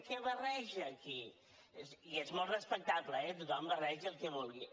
què barreja aquí i és molt respectable eh que tothom barregi el que vulgui